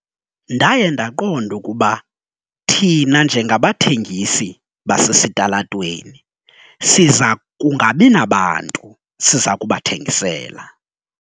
Ndaye ndaqonda ukuba thina njengabathengisi basesitalatweni siza kungabi nabantu siza kubathengisela.